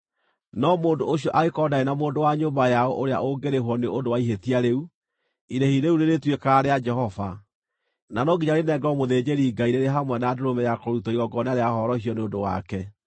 No mũndũ ũcio angĩkorwo ndarĩ na mũndũ wa nyũmba yao ũrĩa ũngĩrĩhwo nĩ ũndũ wa ihĩtia rĩu, irĩhi rĩu rĩrĩtuĩkaga rĩa Jehova, na no nginya rĩnengerwo mũthĩnjĩri-Ngai rĩrĩ hamwe na ndũrũme ya kũrutwo igongona rĩa horohio nĩ ũndũ wake.